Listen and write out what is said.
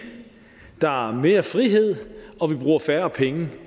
der er mere frihed og vi bruger færre penge